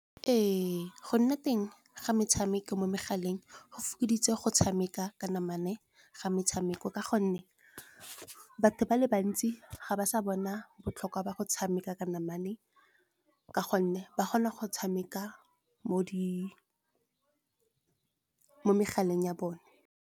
Ee, go nna teng ga metshameko mo megaleng go fokoditse go tshameka ka namana ga metshameko. Ka gonne batho ba le bantsi ga ba sa bona botlhokwa ba go tshameka ka namana ka gonne ba kgona go tshameka mo megaleng ya bone.